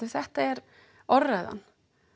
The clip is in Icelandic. þetta er orðræðan